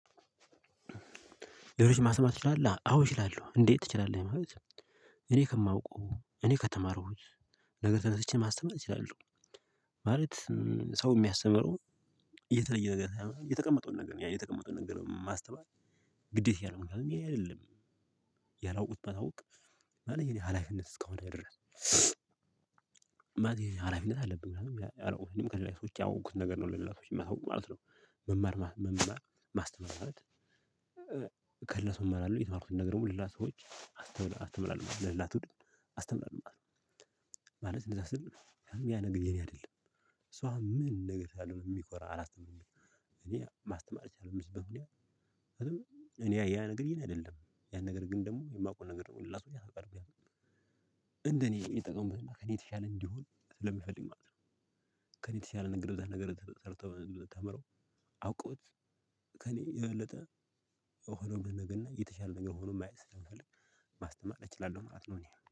ሌሎች ማሰተማር ትችላለህ? አዎ እችላለሁ እንዴት ትችላለህ? ማለት እኔ ከማውቀው እኔ ከተማሩት ነገር ተነስቼ ማስተማር እችላለሁ። ማለት ሰው እሚያስተምረው የተለየ ነገር ሳይሆን የተቀመጠውን ነገር የተቀመጠውን ነገር ማስተማር። ግዴታዬ ነው ምክንያቱም ሌላ አይደለም። ያላወቁት ባሳውቅ ማለት ሀላፊነት እስከሆነ ድረስ። ማለት ሀላፊነት አለብኝ ምናምን አረ ወይም ከሌላ ሰዎች ያወቅኩት ነገር ነው ለሌላ ሰዎች የሚመታው ማለት ነው። መማር መማር ማስተማራት። ከለሱም አላሉ የተማሩትን ነገር ሁሉ ሌላ ሰዎች አስተምራለሁ ለሌላ ትውድ አስተምራለሁ ማለት ነው። ማለት እንደዛ ስል ያን ነገር የኔ አይደለም። ሷ ምን ነገር ሳልሆን የሚኮራ አላስተምርም። እኔ ማስተማር የቻለው ምስብህም እኔ። እኔ ያ ነገርዬን አይደለም ያን ነገር ግን ደግሞ የማውቀው ነገር ነው ሁላችንም ያናገርም። እንደኔ የተጠየኩትና ከኔ የተሻለ እንዲሆን ስለሚፈልግ ማለት ነው። ከኔ የተሻለ ንግግር በተለይ ንግግር ተርተው ብትታመረው። አውቀውት ከኔ የበለጠ። ነገር የተሻለ ነገር ሆኖ ማየት ስንፈልግ ማስተማር እችላለሁ ማለት ነው። እኔ